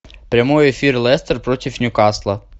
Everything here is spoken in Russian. прямой эфир лестер против ньюкасла